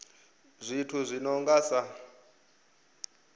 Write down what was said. zwithu zwi no nga sa